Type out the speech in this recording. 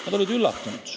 Nad olid üllatunud.